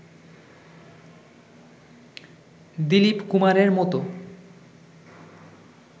দিলীপ কুমারের মতো